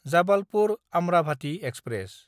Jabalpur-Amravati express